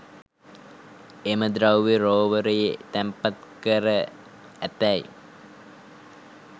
එම ද්‍රව්‍යය රෝවරයේ තැන්පත්කැර ඇතැයි